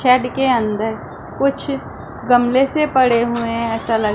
shade के अंदर कुछ गमले से पड़े हुए हैं ऐसा लग--